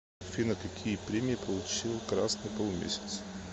афина какие премии получил красный полумесяц